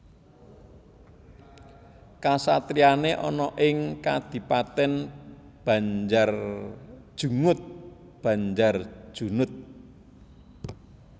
Kasatriyane ana ing Kadipaten Banjarjungut Banjarjunut